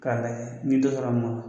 K'a n'i dɔ sɔrɔ la munnu kun.